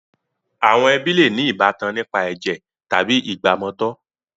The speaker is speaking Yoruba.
Àwọn ẹbí le ní ìbátan nípa ẹ̀jẹ̀ tàbí ìgbàmọtọ̀.